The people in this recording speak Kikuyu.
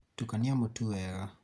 tukania mũtu wega